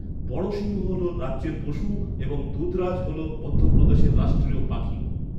বড়সিংহ হল রাজ্যের পশু এবং দুধরাজ হল মধ্যপ্রদেশের রাষ্ট্রীয় পাখি।